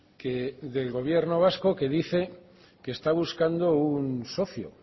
que del gobierno vasco que dice que está buscando un socio